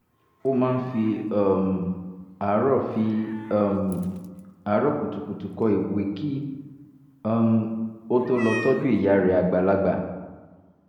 ó máa ń fi um àárọ̀ fi um àárọ̀ kùtùkùtù kọ ìwé kí um ó tó lọ tọ́jú ìyá rẹ̀ àgbàlagbà